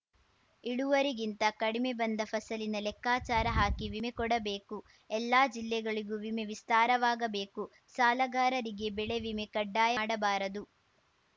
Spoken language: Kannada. ಇಳುವರಿಗಿಂತ ಕಡಿಮೆ ಬಂದ ಫಸಲಿನ ಲೆಕ್ಕಾಚಾರ ಹಾಕಿ ವಿಮೆ ಕೊಡಬೇಕು ಎಲ್ಲಾ ಜಿಲ್ಲೆಗಳಿಗೂ ವಿಮೆ ವಿಸ್ತಾರವಾಗಬೇಕು ಸಾಲಗಾರರಿಗೆ ಬೆಳೆ ವಿಮೆ ಕಡ್ಡಾಯ ಮಾಡಬಾರದು